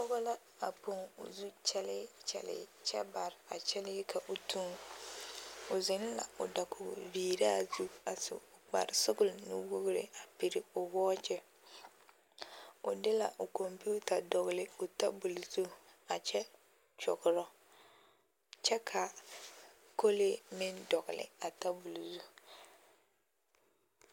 Pɔgɔ la a poŋ o zu kyɛlee kyɛ bare a kyɛlee ka o tuŋ o zeŋ la o dakoge viiraa zu a su kparesɔgle nuwogre pire o wɔɔkyi o de la l kɔmpiuta dɔgle o tabol zu a kyɛ kyɔgrɔ kyɛ ka kolee meŋ dɔgle a tabole zu.